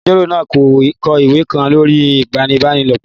Agbẹjọ́rò náà n kọ ìwé kan lórí ìfipábanílòpọ̀